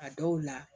A dɔw la